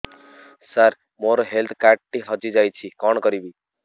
ସାର ମୋର health card ଟି ହଜି ଯାଇଛି କଣ କରିବି